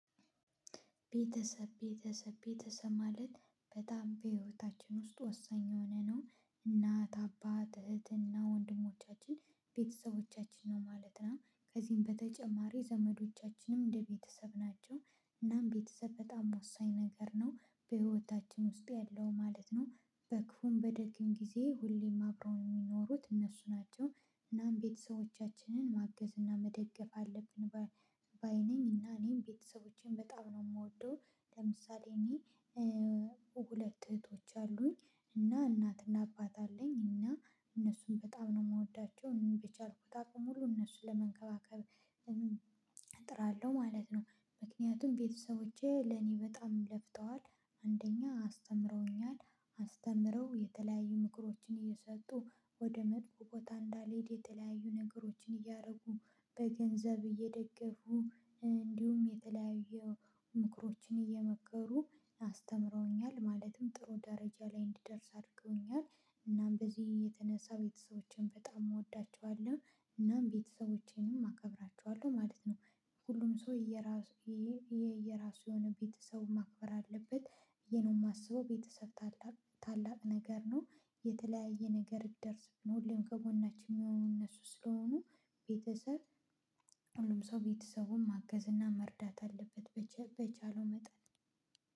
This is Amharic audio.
ቤተሰብ ቤተሰብ ቤተሰብ ማለት በጣም በህይወታችን ውስጥ ወሳኝ የሆነ ነው እናት አባት እህትና ወንድሞቻችን ቤተሰቦቻችን ነው ማለት ነው ከዚህም በተጨማሪ ዘመዶቻችንም እንደ ቤተሰብ ናቸው። እናም ቤተሰብ በጣም ወሳኝ ነገር ነው በሕይወታችን ውስጥ ያለው ማለት ነው በ ክፉም በ ደግም ጊዜ ሁሌም አብረው የሚኖሩት እነሱ ናቸው። እናም ቤተሰቦቻችንን ማገዝና መደገፍ አለብን ባይ ባይ ነኝ እና እኔም ቤተሰቦቼን በጣም ነው የምወደው። ለምሳሌ እኔ ሁለት እህቶች አሉኝ። እና እናትና አባት አለኝ እና እነሱን በጣም ነው የምወዳቸው በቻልኩት አቅም ሁሉ እነሱን ለመንከባከብ። አጥራለሁ ማለት ነው። ምክነያቱም ቤተሰቦቼ ለኔ በጣም ለፍተዋል። አንደኛ አስተምረውኛል። አስተምረው የተለያዩ ምክሮችን አየሰጡ ወደ መጥፎ ቦታ አንዳልሄድ የተለያዩ ነገሮችን እያደረጉ በ ገንዘብ አየደገፉ እንዲሁም የተለያየ ምክሮችን አየመከሩ አስተምረውኛል ማለትም ጥሩ ደረጃ ላይ አንድደርስ አድርገውኛል። እናም በዚህ የተነሳ ቤተሰቦቼን በጣም እወዳቸዋለሁ። እናም ቤተሰቦቼንም አከብራቸዋለሁ ማለት ነው። ሁሉም ሰው የየራሱ የየራሱ የሆነ ቤተሰቡን ማክበር አለበት ብዬ ነው የማስበው ቤተሰብ ታላቅ ታላቅ ነገር ነው። የተለያየ ነገር ቢደርስብን ሁሌም ከጎናችን የሚሆነው እነሱ ስለሆኑ። ቤተሰብ ሁሉም ሰው ቤተሰቡን ማገዝ እና መርዳት አለበት በቻለው መጠን።